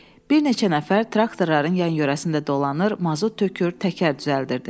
Bir neçə nəfər traktorların yan-yörəsində dolanır, mazut tökür, təkər düzəldirdi.